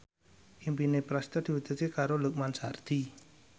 impine Prasetyo diwujudke karo Lukman Sardi